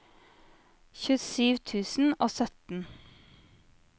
tjuesju tusen og sytten